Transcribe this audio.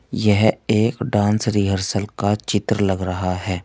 यह एक dance rehearsal का चित्र लग रहा है।